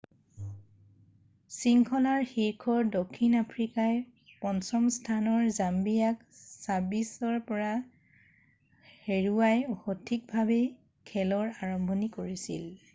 শৃংখলাৰ শীৰ্ষৰ দক্ষিণ আফ্ৰিকাই 5ম স্থানৰ জাম্বিয়াক 26-00ত হৰুৱাই সঠিকভাৱেই খেলৰ আৰম্ভণি কৰিছিল।